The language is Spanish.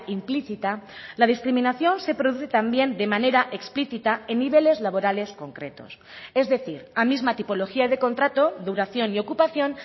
implícita la discriminación se produce también de manera explícita en niveles laborales concretos es decir a misma tipología de contrato duración y ocupación